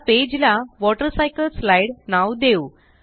या पेज ला वॉटरसायकलस्लाईड नाव देऊ